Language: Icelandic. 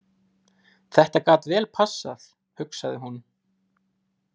Þetta gat vel passað, hugsaði hún.